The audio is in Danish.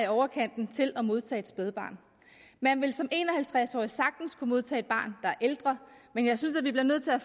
overkanten til at modtage et spædbarn man vil som en og halvtreds årig sagtens kunne modtage et barn er ældre men jeg synes vi bliver nødt til at